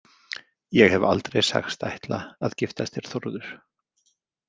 Ég hef aldrei sagst ætla að giftast þér, Þórður